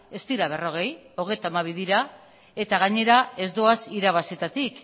ez dira berrogei hogeita hamabi dira eta gainera ez doaz irabazietatik